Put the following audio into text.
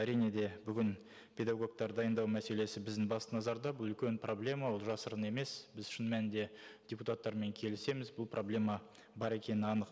әрине де бүгін педагогтар дайындау мәселесі біздің басты назарда бұл үлкен проблема ол жасырын емес біз шын мәнінде депутаттармен келісеміз бұл проблема бар екені анық